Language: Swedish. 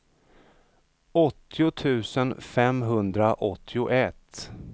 åttio tusen femhundraåttioett